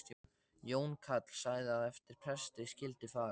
Jón karl sagði að eftir presti skyldi fara.